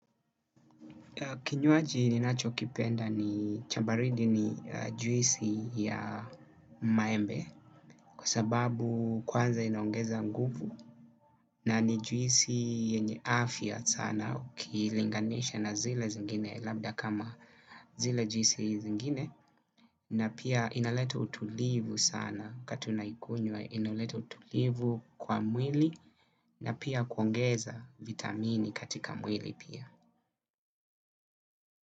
Kinywaji ninacho kipenda ni cha baridi ni juisi ya maembe kwa sababu kwanza inaongeza nguvu na ni juisi yenye afya sana ukilinganisha na zile zingine labda kama zile juisi zingine na pia inaleta utulivu sana kati unaikunywa inaleta utulivu kwa mwili na pia kuongeza vitamini katika mwili pia.